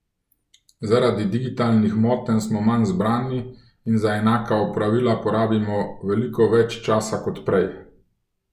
Zaradi digitalnih motenj smo manj zbrani in za enaka opravila porabimo veliko več časa kot prej.